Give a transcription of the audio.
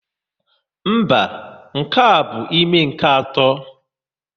Mba, nke a bụ ime nke atọ.